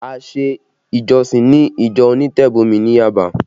A ṣe ìjọsìn ni ìjọ onítẹ̀bọmi ní Yaba